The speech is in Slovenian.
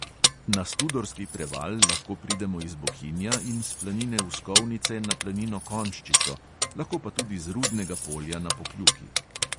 Na studorski preval lahko pridemo iz bohinja in s planine uskovnice na planino konjščico, lahko pa tudi z rudnega polja na pokljuki.